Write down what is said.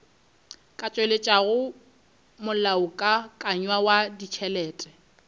ka tšweletšago molaokakanywa wa ditšhelete